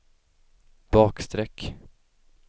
bakstreck